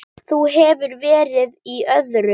Hún hefur verið í öðru.